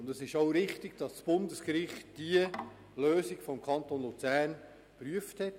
Es ist auch richtig, dass das Bundesgericht die Lösung des Kantons Luzern geprüft hat.